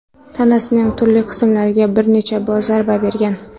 tanasining turli qismlariga bir necha bor zarba bergan.